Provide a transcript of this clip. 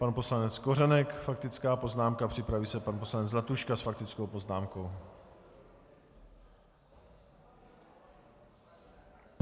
Pan poslanec Kořenek faktická poznámka, připraví se pan poslanec Zlatuška s faktickou poznámkou.